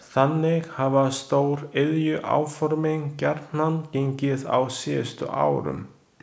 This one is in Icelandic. Þannig hafa stóriðjuáformin gjarnan gengið á síðustu árum.